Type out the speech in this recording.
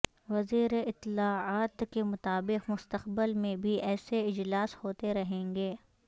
وزیر اطلاعات کے مطابق مستقبل میں بھی ایسے اجلاس ہوتے رہیں گے